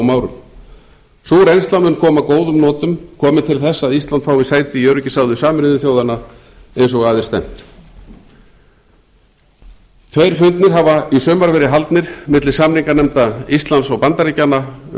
árum sú reynsla mun koma að góðum notum komi til þess að ísland fái sæti í öryggisráði sameinuðu þjóðanna eins og að er stefnt tveir fundir hafa í sumar verið haldnir milli samninganefndar íslands og bandaríkjanna um